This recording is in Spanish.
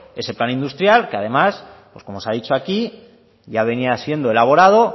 ese plan industrial que además como se ha dicho aquí ya venía siendo elaborado